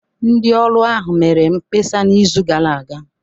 Ndị ọrụ ahụ mere mkpesa n'izu gara aga